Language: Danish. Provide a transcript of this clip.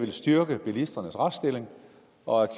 vil styrke bilisternes retsstilling og